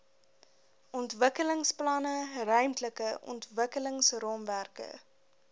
ontwikkelingsplanne ruimtelike ontwikkelingsraamwerke